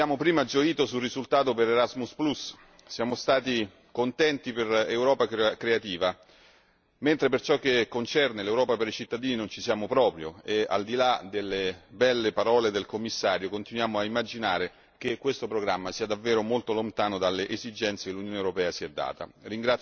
Abbiamo prima gioito sui risultati per Erasmus e per Europa creativa, mentre per ciò che concerne l'Europa per i cittadini non ci siamo proprio e, al di là delle belle parole del Commissario, continuiamo a ritenere che questo programma sia davvero molto lontano dalle esigenze che l'Unione europea si è data.